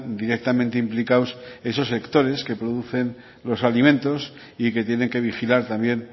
directamente implicados esos sectores que producen los alimentos y que tienen que vigilar también